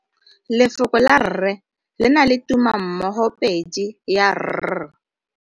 Lefoko la 'rre' le na le tumammogopedi ya r.